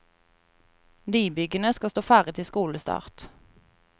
Nybyggene skal stå ferdig til skolestart.